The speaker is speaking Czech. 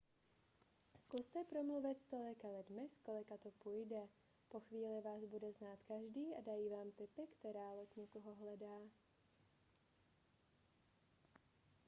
zkuste promluvit s tolika lidmi s kolika to půjde po chvíli vás bude znát každý a dají vám tipy která loď někoho hledá